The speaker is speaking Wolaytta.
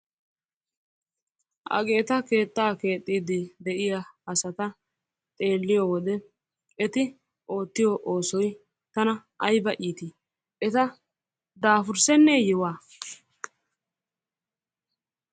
Hageeta keettaa keexxiiddi de'iya asaa xeelliyo wode eti oottiyo oosoy tana ayiba iiti! Eta daafurssenneeyewaa?